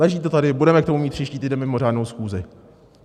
Leží to tady, budeme k tomu mít příští týden mimořádnou schůzi.